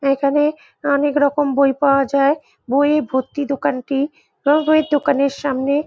এখানে অনেক রকম বই পাওয়া যায় । বইএ ভর্তি দোকানটি ওই বইয়ের দোকানের সামনে --